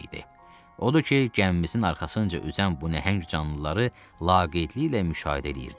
Odur ki, gəmimizin arxasınca üzən bu nəhəng canlıları laqeydliklə müşahidə eləyirdik.